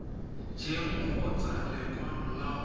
eng kgotsa lekwalo la go